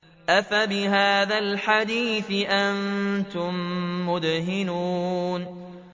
أَفَبِهَٰذَا الْحَدِيثِ أَنتُم مُّدْهِنُونَ